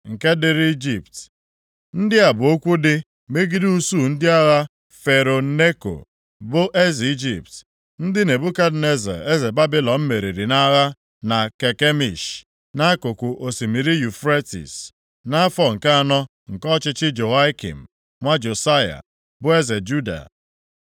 Nke dịrị Ijipt: Ndị a bụ okwu dị megide usuu ndị agha Fero Neko, bụ eze Ijipt, ndị Nebukadneza eze Babilọn meriri nʼagha na Kakemish, nʼakụkụ osimiri Yufretis, nʼafọ nke anọ nke ọchịchị Jehoiakim nwa Josaya, bụ eze Juda.